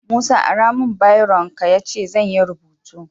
Musa ara mun biron ka yace zanyi rubutu